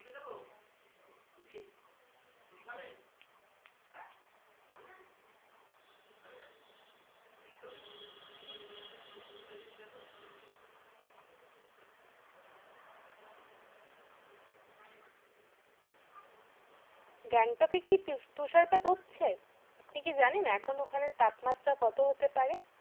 গ্যাংটক এ কি তু তুষারপাত হচ্ছে? আপনি কি জানেন এখন ওখানে তাপমাত্রা কত হতে পারে?